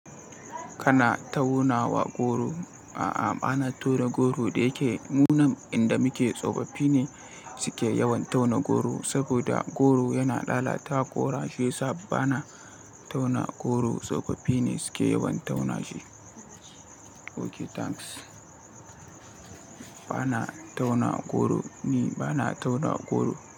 Kana tauna goro? A'a bana tauna goro da yake mu nan inda muke tsofaffi ne suke yawan tauna goro saboda goro yana lalata koda shi yasa bana tauna goro. Tsofaffi ne suke yawan tauna shi. Oh nagode. Bana tauna goro ni bana tauna goro.